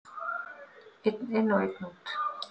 Einn inn og einn út!